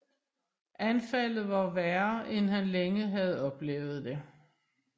Anfaldet var værre end han længe havde oplevet det